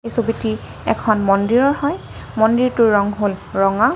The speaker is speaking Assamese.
এই ছবিটি এখন মন্দিৰৰ হয় মন্দিৰটোৰ ৰং হ'ল ৰঙা।